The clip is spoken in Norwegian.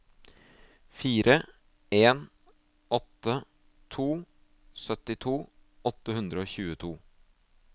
fire en åtte to syttito åtte hundre og tjueto